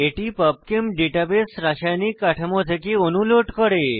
এটি PubChem database রাসায়নিক কাঠামো থেকে অণু লোড করে